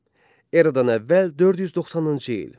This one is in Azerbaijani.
Eradan əvvəl 490-cı il.